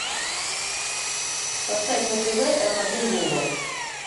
поставь на тв м один глобал